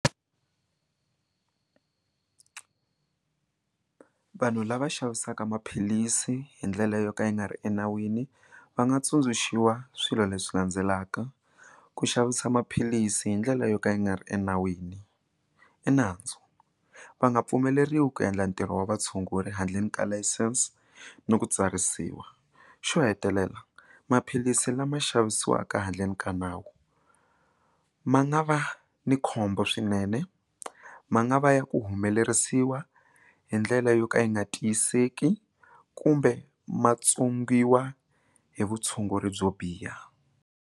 Vanhu lava xavisaka maphilisi hi ndlela yo ka yi nga ri enawini va nga tsundzuxiwa swilo leswi landzelaka, ku xavisa maphilisi hi ndlela yo ka yi nga ri enawini i nandzu va nga pfumeleriwi ku endla ntirho wa vatshunguri handleni ka layisense no ku tsarisiwa, xo hetelela maphilisi lama xavisiwaka handleni ka nawu ma nga va ni khombo swinene ma nga va ya ku humelerisiwa hi ndlela yo ka yi nga tiyiseki kumbe matsongiwa hi vutshunguri byo biha.